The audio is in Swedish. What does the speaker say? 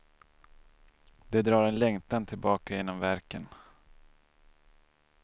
Det drar en längtan tillbaka genom verken.